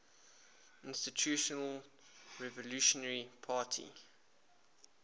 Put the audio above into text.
institutional revolutionary party